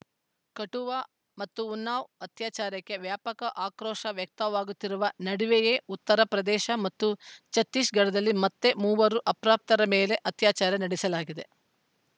ಕಠುವಾ ಮತ್ತು ಉನ್ನಾವ್‌ ಅತ್ಯಾಚಾರಕ್ಕೆ ವ್ಯಾಪಕ ಆಕ್ರೋಶ ವ್ಯಕ್ತವಾಗುತ್ತಿರುವ ನಡುವೆಯೇ ಉತ್ತರ ಪ್ರದೇಶ ಮತ್ತು ಛತ್ತೀಸಗಢದಲ್ಲಿ ಮತ್ತೆ ಮೂವರು ಅಪ್ರಾಪ್ತರ ಮೇಲೆ ಅತ್ಯಾಚಾರ ನಡೆಸಲಾಗಿದೆ